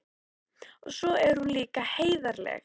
Og svo er hún líka heiðarleg.